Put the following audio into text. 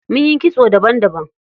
Munyi kitso daban daban.